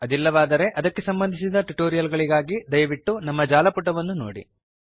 ಅದಿಲ್ಲವಾದರೆ ಅದಕ್ಕೆ ಸಂಬಂಧಿಸಿದ ಟ್ಯುಟೋರಿಯಲ್ ಗಳಿಗಾಗಿ ದಯವಿಟ್ಟು ನಮ್ಮ ಜಾಲಪುಟವನ್ನು httpspoken tutorialorg ನೋಡಿ